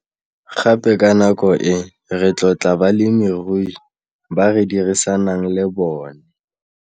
Gape ka nako e, re tlotla balemirui ba re dirisanang le bone.